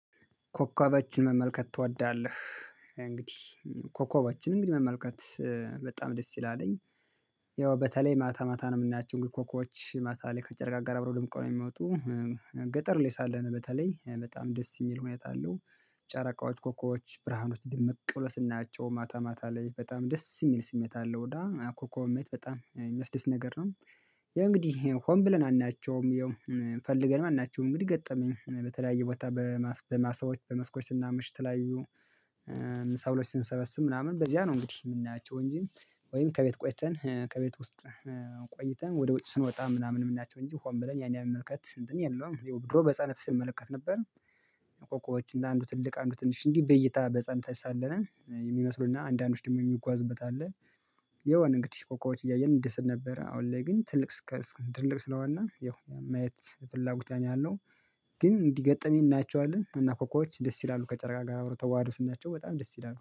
ኮኮቦችን መመልከት ትወዳለህ? እንግዲህ ኮኮቦችን መመልከት በጣም ደስ ይላልኝ። ያው በተለይ ማታ ማታ ነው የምናያቸው እንግዲህ ኮኮች ማታ ላይ ከጨረቃ ጋር አብሮ ደምቅው ነው የሚወጡ። ገጠር ላይ ሳለነ በተለይ በጣም ደስ የሚል ሁኔታ አለው። ጨረቃዎች ኮኮች ብርሃኖች ድምቅ ብሎ ስናየቸው ማታ ማታ ላይ በጣም ደስ የሚል ስሜት አለው እና ኮከብን ማየት በጣም የሚወስድስት ነገር ነው። ያ እንግዲህ ሆን ብለን አናያቸውም ያው ፈልገን አናያቸውም እንግዲህ ገጠመኝ በተለያየ ቦታ። በማሳዎች በመስኮች ስናምሽ የተለያዩ ሰበሎች ስንሰበስብ ምናምን በዚያ ነው እንግዲህ የምናያቸው እንጂ ወይም ከቤት ቆይተን ከቤት ውስጥ ቆይተን ወደ ውጭ ስንወጣ ምናምን የምናያቸው እንጂ ሆን ብለን ያን የመመልከት እንትን የለውም። ይሄው ድሮ በህፃንነት ስነመለከት ነበር። ኮኮቦች እና አንዱ ትልቅ አንዱ ትንሽ እንዲህ በይታ በህፃንነታች ሳለን የሚመስሉና አንዳንዶች ደግሞ የሚጓዝበት አለ። የዉን እንግዲህ ኮኮቦዎች እያየን እንድሰት ነበረ አሁን ላይ ግን ትልቅ ትልቅ ስለሆን ያው ማየት ፍላጎት ላይ ነው ያለው። ግን እንዲገጠመኝ እናያቸዋለን እና ኮኮቦች ደስ ይላሉ ከጨረቃ ጋር አብሮ ተዋህዶ ስናየቸው በጣም ደስ ይላሉ